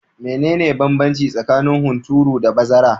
Mene ne banbanci tsakanin hunturu da bazara?